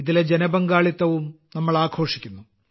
ഇതിലെ ജനപങ്കാളിത്തവും നമ്മൾ ആഘോഷിക്കുന്നു